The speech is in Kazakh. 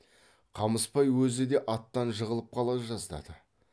қамысбай өзі де аттан жығылып қала жаздады